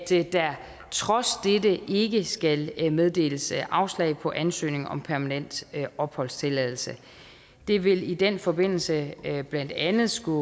der trods dette ikke skal meddeles afslag på ansøgning om permanent opholdstilladelse det vil i den forbindelse blandt andet skulle